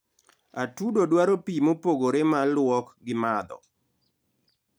atudo dwaro pii mopogore mar luok gi madho